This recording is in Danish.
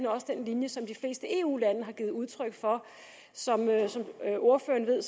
også den linje som de fleste eu lande har givet udtryk for som ordføreren ved